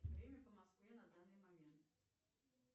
время по москве на данный момент